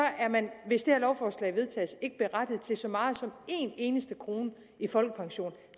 man hvis det her lovforslag vedtages ikke berettiget til så meget som en eneste krone i folkepension